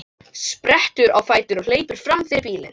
Sprettur á fætur og hleypur fram fyrir bílinn.